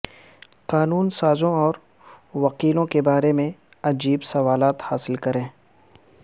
قانون سازوں اور وکیلوں کے بارے میں عجیب سوالات حاصل کریں